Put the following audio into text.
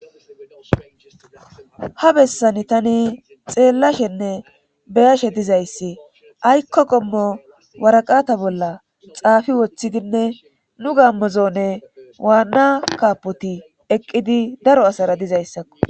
Ha bessani tani xeellashenne be7ashe dizayssi aykko qommo waraqata bolla xaafi wothidinne nu gaammo zoonee wanna kaboti eqqidi daro asara dizayssakko.